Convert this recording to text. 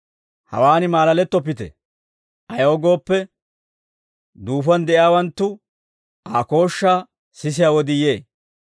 «Hawaan malalettoppite; ayaw gooppe, duufuwaan de'iyaawanttu Aa kooshshaa sisiyaa wodii yee.